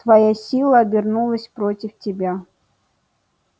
твоя сила обернулась против тебя